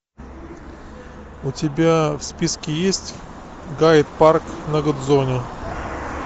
у тебя в списке есть гайд парк на гудзоне